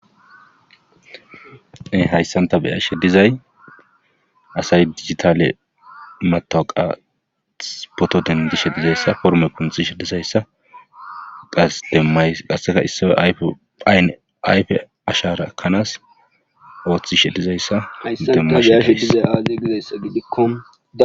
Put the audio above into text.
Hayssanta beyashe dizay asay digitale matoqa potoden dishe dizayssa forme kunxishe dizayssa qas demmays qasseka issoy ayfe phayne ayfe ashara ekanaas ooththishe dizayssa demmashashiise aaze gidessa gidikko.